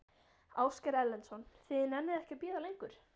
Ásgeir Erlendsson: Þið nennið ekki að bíða lengur?